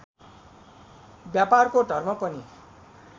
व्यापारको धर्म पनि